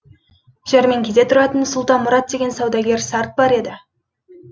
жәрмеңкеде тұратын сұлтанмұрат деген саудагер сарт бар еді